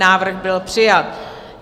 Návrh byl přijat.